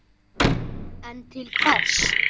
En til hvers?